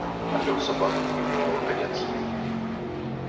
трёх собак как не бывало конец